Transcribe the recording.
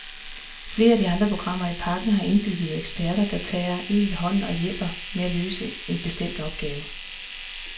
Flere af de andre programmer i pakken, har indbyggede eksperter, der tager en ved hånden og hjælper med at løse en bestemt opgave.